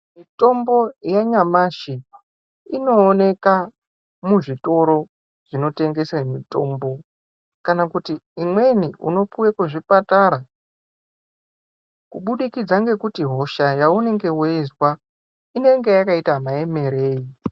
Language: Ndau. Mitombo yanyamashi inooneka muzvitoro zvinotengesa mitombo kana kuti imweni unopuwe kuzvipatara kubudikidza ngekuti hosha yaunenge weizwa inenge yakaita maemerei.